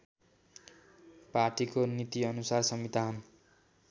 पार्टीको नीतिअनुसार संविधान